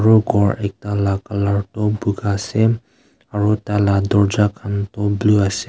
etu ghor ekta laga colour tu boga ase aru tah lah durja khan tu blue ase.